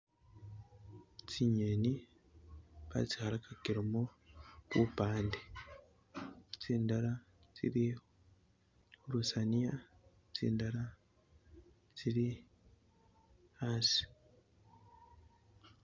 Ah tsi'ngeni ba tsi'khalakakilemo bupande , tsindala tsili khulusaniya, tsindala tsili asi.